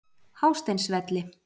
Hásteinsvelli